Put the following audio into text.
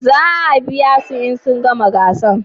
Za a biya su in sun gama gasan?